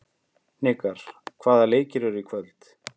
Hnikar, hvaða leikir eru í kvöld?